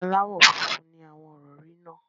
Aláwọ̀ funfun ni àwọn ìrọ̀rí náà.